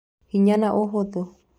Hinya na ũhũthũ: